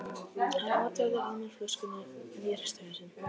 Hann otaði að mér flöskunni, en ég hristi hausinn.